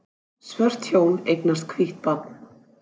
Svört hjón eignast hvítt barn